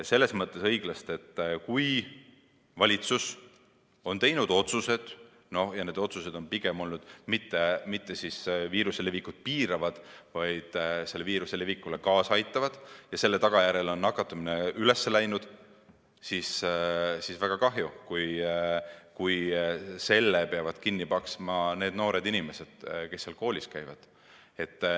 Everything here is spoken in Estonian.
Selles mõttes õiglast, et kui valitsus on teinud otsused ja need otsused on olnud pigem sellised, mis ei piira viiruse levikut, vaid aitavad selle levikule kaasa, ja selle tagajärjel on nakatumine kasvanud, siis on väga kahju, kui selle peavad kinni maksma need noored inimesed, kes koolis käivad.